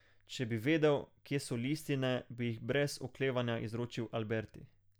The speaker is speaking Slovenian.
Če bi vedel, kje so listine, bi jih brez oklevanja izročil Alberti.